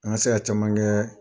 An ka se ka caman kɛ